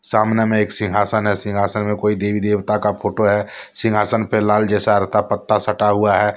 सामने में एक सिंहासन है सिंहासन में कोई देवी देवता का फोटो है सिंहासन पर लाल जैसा पत्ता सटा हुआ है।